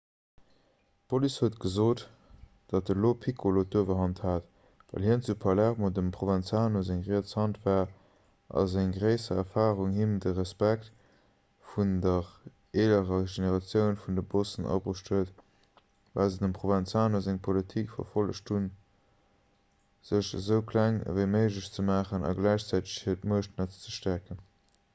d'police huet gesot datt de lo piccolo d'uewerhand hat well hien zu palermo dem provenzano seng riets hand war a seng gréisser erfarung him de respekt vun der eelerer generatioun vun de bossen abruecht huet well se dem provenzano seng politik verfollegt hunn sech esou kleng ewéi méiglech ze maachen a gläichzäiteg hiert muechtnetz ze stäerken